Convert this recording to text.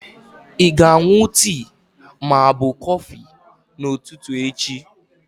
Ị ga-aṅụ tii ma ọ bụ kọfị n'ụtụtụ echi?